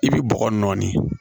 I bi bɔgɔ nɔɔni